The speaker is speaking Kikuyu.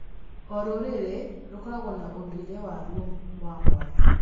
O rũrĩrĩ rũkoragwo na ũndũire waruo wa mwanya.